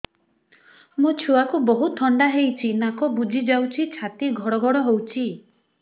ମୋ ଛୁଆକୁ ବହୁତ ଥଣ୍ଡା ହେଇଚି ନାକ ବୁଜି ଯାଉଛି ଛାତି ଘଡ ଘଡ ହଉଚି